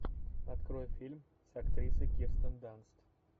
открой фильм с актрисой кирстен данст